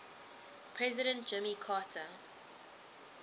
president jimmy carter